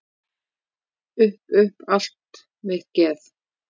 Upp upp allt mitt geð.